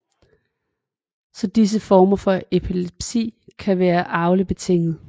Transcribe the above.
Så disse former for epilepsi kan være arveligt betinget